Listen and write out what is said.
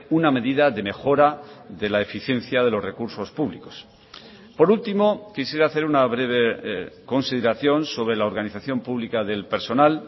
una medida de mejora de la eficiencia de los recursos públicos por último quisiera hacer una breve consideración sobre la organización pública del personal